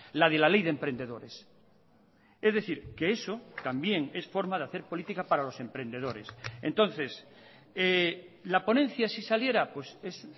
la de la ley de emprendedores es decir que eso también es forma de hacer política para los emprendedores entonces la ponencia si saliera es